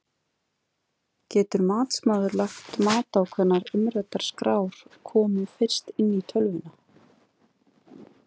Getur matsmaður lagt mat á hvenær umræddar skrár komu fyrst inn í tölvuna?